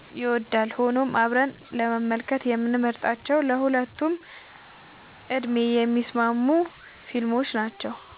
ይወዳል። ሆኖም አብረን ለመመልከት የምንመርጣቸው ለሁለቱም ዕድሜ የሚስማሙ ፊልሞች ናቸው።